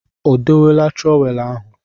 O dowela trọweelụ ahụ?